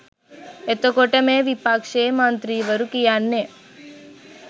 එතකොට මේ විපක්ෂයේ මන්ත්‍රීවරු කියන්නේ